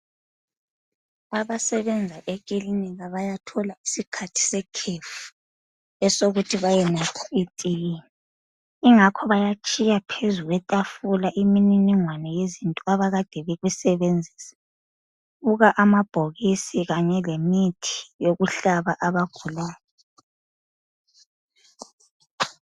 Abasenzi ekilinika bayathola isikhathi sekhefu, esokuthi bayenatha itiye. Yingakho bayatshiya phezu kwetafula iminingingwane yezinto abakade bekusebenzisa. Buka amabhokisi kanye lemithi yokuhlaba abagulayo.